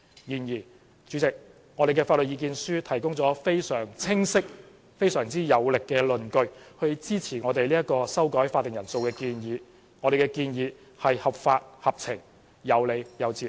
然而，我們的法律意見書提供了非常清晰有力的論據，支持我們修改會議法定人數的建議，我們的建議是合法合情、有理有節。